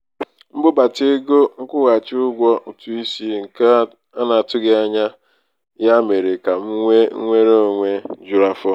mbudata ego nkwụghachi ụgwọ ụtụisi nke a na-atụghị anya ya mere ka m nwee nnwere onwe juru afọ.